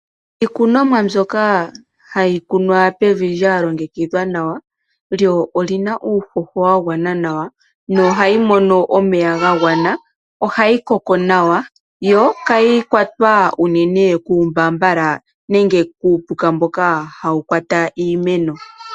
Iikunonwa mbyoka hayi kunwa pevi lyalongekidhwa nawa lyo olina uuhoho wagwana nawa naohali mono omeya gagwana ohayi koko nawa yo kayi kwatwa unene kuumbambala nenge kuupuka mboka hawu kwata iimeno.